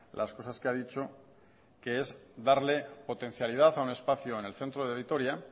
las cosas que ha dicho que es darle potencialidad a un espacio en el centro de vitoria